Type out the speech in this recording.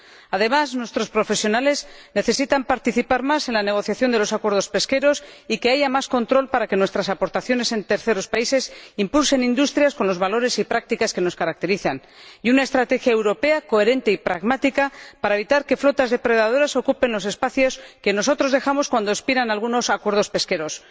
Además, nuestros profesionales necesitan participar más en la negociación de los acuerdos pesqueros y que haya más control, para que nuestras aportaciones en terceros países impulsen industrias con los valores y prácticas que nos caracterizan, y una estrategia europea coherente y pragmática, para evitar que flotas depredadoras ocupen los espacios que nosotros dejamos cuando expiran algunos acuerdos pesqueros.